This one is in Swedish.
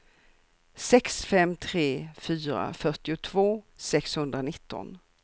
sex fem tre fyra fyrtiotvå sexhundranitton